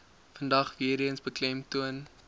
vandag weereens beklemtoon